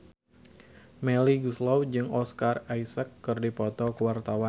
Melly Goeslaw jeung Oscar Isaac keur dipoto ku wartawan